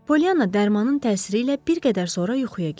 Pollyana dərmanın təsiri ilə bir qədər sonra yuxuya getdi.